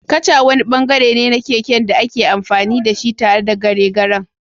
Kacha wani bangare ne na keken da ake amfani da shi tare da garegaren.